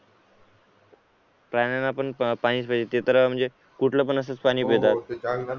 प्राण्यांना पण पाणीच पाहिजे ते तर म्हणजे कुठलं पण असंच पाणी पितात